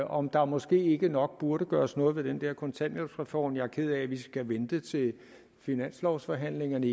om der måske ikke nok burde gøres noget ved den der kontanthjælpsreform jeg er ked af at vi igen skal vente til finanslovsforhandlingerne